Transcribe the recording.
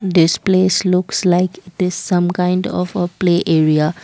this place looks like this some kind of a play area.